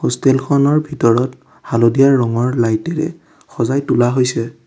Hostel খনৰ ভিতৰত হালধীয়া ৰঙৰ লাইট এৰে সজাই তোলা হৈছে।